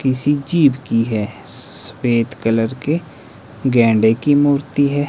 किसी जीव की है सफेद कलर के गेंडे की मूर्ति है।